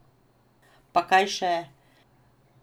Pa kaj še!